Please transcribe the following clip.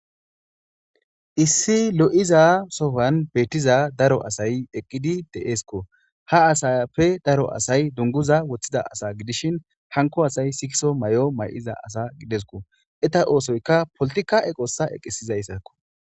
Issi lo'iza sowani beetiza daro asayi eqidi de'esko.ha asappe daro asayi dunguza wothida gidishin hanko asayi sikiso mayo mayiza asa gidesko. eeta oosoyka politica eqosa eqisizaysako .